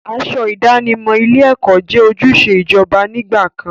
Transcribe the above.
Aṣọ ìdánimọ̀ ilé-ẹ̀kọ́ jẹ́ ojúṣe ìjọba nígbà kan.